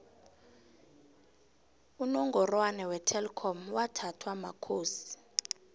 inongvrwana wetelkom wathathwa makhoti